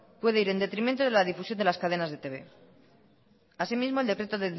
puede ir en detrimento de la difusión de las cadenas de etb así mismo el decreto